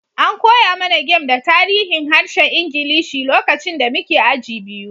An koya mana game da tarihin harshen Ingilishi lokacin da muke aji biyu.